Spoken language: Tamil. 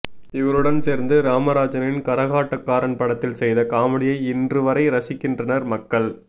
இவருடம் சேர்ந்து ராமராஜனின் கரகாட்டக்காரன் படத்தில் செய்த காமெடியை இண்று வரை ரசிக்கின்றனர் மக்கள்